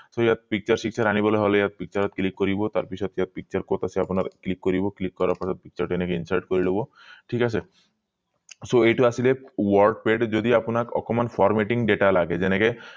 so ইয়াত picture picture আনিবলে হলে ইয়াত picture ত click কৰিব তাৰ পিছত ইয়াত picture কত আছে আপোনাৰ click কৰিব click কৰাৰ পাছত picture টো এনেকে insert কৰিব লব ঠিক আছে so এইটো আছিলে wordpad যদি আপোনাক অকণমান formatting data লাগে যেনেকে